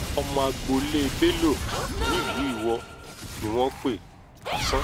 ọmọ agboolé bello nílùú iwọ ni wọ́n pe hasan